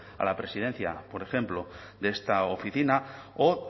a la presidencia por ejemplo de esta oficina o